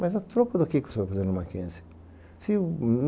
Mas a troca do que que você vai fazer na Mackenzie?